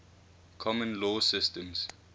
common law systems